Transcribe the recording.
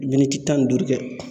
tan ni duuru kɛ.